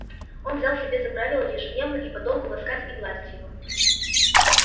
он взял себе за правило ежедневно и подолгу ласкать и гладить его